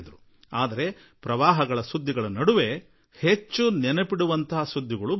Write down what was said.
ಆದರೆ ಈ ಪ್ರವಾಹದ ಸುದ್ದಿಗಳ ನಡುವೆಯೂ ಹೆಚ್ಚು ಸ್ಮರಿಸುವ ಅಗತ್ಯವಿದ್ದಂತಹ ಸುದ್ದಿಗಳೂ ಇವೆ